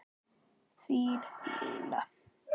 Þín Nína.